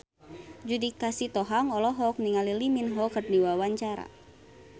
Judika Sitohang olohok ningali Lee Min Ho keur diwawancara